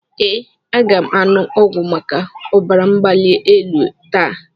Ee, aga m aṅụ ọgwụ maka ọbara mgbali elu taa.